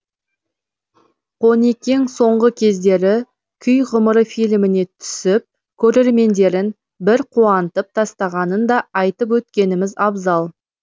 қонекең соңғы кездері күй ғұмыры фильміне түсіп көрермендерін бір қуантып тастағанын да айтып өткеніміз абзал